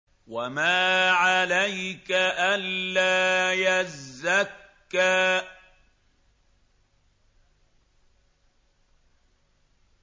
وَمَا عَلَيْكَ أَلَّا يَزَّكَّىٰ